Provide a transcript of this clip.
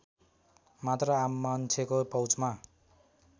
मात्र आममान्छेको पहुँचमा